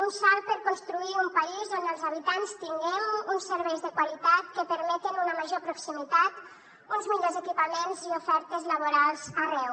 un salt per construir un país on els habitants tinguem uns serveis de qualitat que permetin una major proximitat uns millors equipaments i ofertes laborals arreu